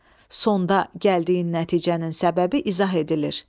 Sonda gəldiyin nəticənin səbəbi izah edilir.